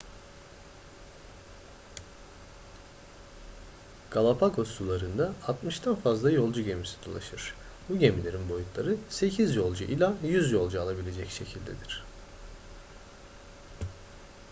galapagos sularında 60'dan fazla yolcu gemisi dolaşır bu gemilerin boyutları 8 yolcu ila 100 yolcu alabilecek şekildedir